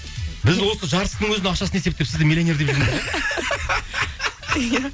біз осы жартысының өзінің ақшасын есептеп сізді миллионер деп жүрміз ғой иә